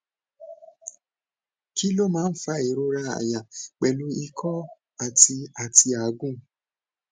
kí ló máa ń fa ìrora àyà pẹlu iko ati ati agun